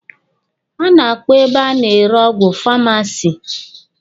A na-akpọ ebe a na-ere ọgwụ famasi.